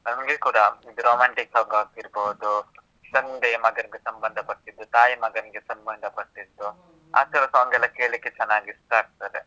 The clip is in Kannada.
ನನಗೆ ಕೂಡ romantic song ಆಗಿರ್ಬೋದು, ತಂದೆ ಮಗನಿಗೆ ಸಂಬಂಧ ಪಟ್ಟಿದ್ದು, ತಾಯಿ ಮಗನಿಗೆ ಸಂಬಂಧ ಪಟ್ಟಿದ್ದು, ಆ ತರ song ಎಲ್ಲಾ ಕೇಳ್ಲಿಕ್ಕೆ ಚೆನ್ನಾಗಿ ಇಷ್ಟ ಆಗ್ತದೆ.